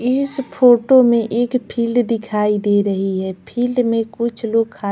इस फोटो में एक फील्ड दिखाई दे रही है फील्ड में कुछ लोग--